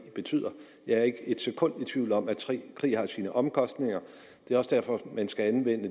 betyder jeg er ikke et sekund i tvivl om at krig har sine omkostninger det er også derfor man skal anvende